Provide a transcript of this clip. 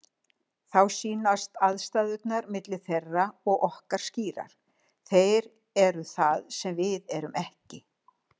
Þá sýnast andstæðurnar milli þeirra og okkar skýrar: Þeir eru það sem við erum ekki.